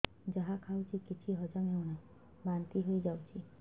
ଯାହା ଖାଉଛି କିଛି ହଜମ ହେଉନି ବାନ୍ତି ହୋଇଯାଉଛି